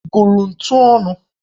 Ị gụrụ ntu ọnụ?